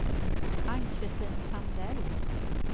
Ann-Christin Sandell